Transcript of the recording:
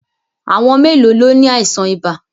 À̀wọn mélòó ló ni àìsàn ibà?